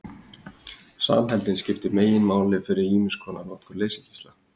Samheldnin skiptir meginmáli fyrir ýmiskonar notkun leysigeisla.